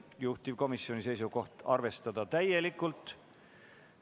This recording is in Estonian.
Juhtivkomisjoni seisukoht on arvestada seda täielikult.